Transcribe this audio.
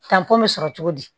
Tanpɔn bɛ sɔrɔ cogo di